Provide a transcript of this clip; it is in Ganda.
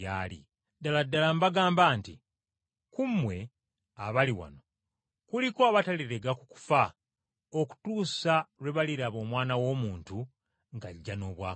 “Ddala ddala mbagamba nti ku mmwe abali wano kuliko abatalirega ku kufa okutuusa lwe baliraba Omwana w’Omuntu ng’ajja n’obwakabaka bwe.”